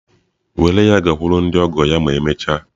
Were ya gakwuru ndị ọgọ ya ma emechaa.